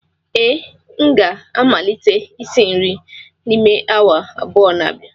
ee, m ga-amalite isi nri n'ime awa abụọ n'abịa